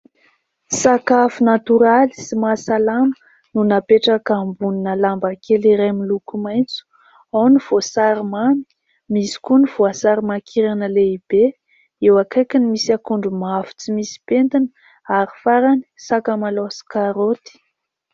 Sakafo natoraly sy mahasalama no napetraka ambonina lamba kely iray miloko maitso : ao ny voasary mamy, misy koa ny voasary mankirana lehibe, eo akaikin'ny misy akondro mavo tsy misy pentina ary farany sakamalaho sy karoty.